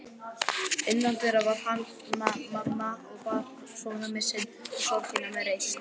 Innandyra var Hanna-Mamma og bar sonarmissinn og sorgina með reisn.